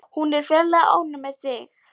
Hún er ferlega ánægð með þig.